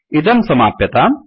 इदं समाप्यताम्